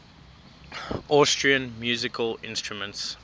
austrian musical instruments